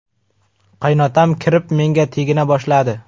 Qaynotam kirib, menga tegina boshladi.